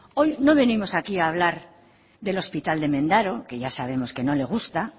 hoy no venimos aquí a hablar del hospital de mendaro que ya sabemos que no le gusta